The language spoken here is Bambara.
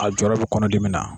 A jɔyɔrɔ bi kɔnɔdimi na.